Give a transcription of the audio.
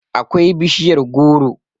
akwai bishiyar goro